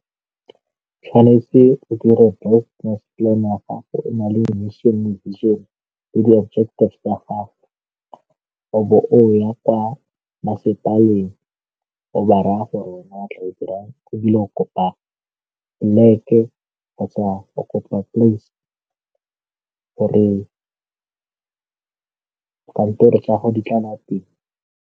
Tshwanetse o dire business plan-e ya gago o na le vision le mission tsa gago, wa bo o ya kwa masepaleng o ba raya gore ebile o kopa plek-e kgotsa o kopa place gore tsa go di tlala teng.